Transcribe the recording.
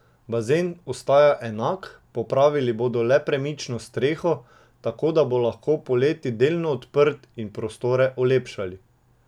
Bazen ostaja enak, popravili bodo le premično streho, tako da bo lahko poleti delno odprt, in prostore olepšali.